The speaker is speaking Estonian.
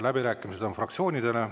Läbirääkimised on fraktsioonidele.